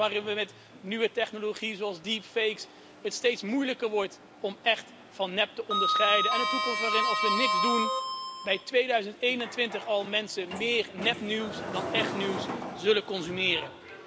Op een toekomst waarin het met nieuwe technologie zoals steeds moeilijker wordt om echt van nep te onderscheiden en een toekomst waarin als we niks doen in 2021 al mensen meer nepnieuws dan echt nieuws zullen consumeren.